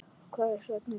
Hvers vegna kemur það?